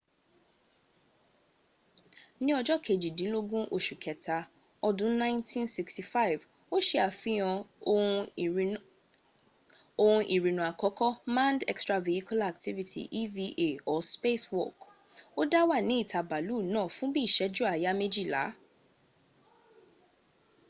ni ojo kejidinlogun osu keta odun 1965 o se afihan ohun irinna akoko manned extravehicular activity eva or spacewalk” o da wa ni ita baalu naa fun bi iseju aya mejila